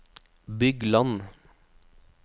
Bygland